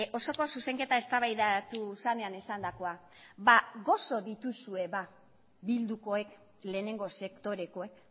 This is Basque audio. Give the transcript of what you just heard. osoko zuzenketa eztabaidatu zenean esandakoa ba gozo dituzue ba bildukoek lehenengo sektorekoek